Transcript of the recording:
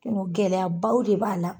Gɛlɛyabaw de b'a la.